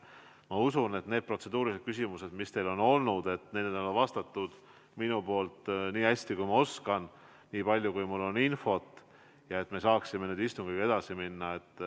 Ma usun, et nendele protseduurilistele küsimustele, mis teil on olnud, olen ma vastanud nii hästi, kui ma oskan, nii palju, kui mul on infot, ja me saame istungiga edasi minna.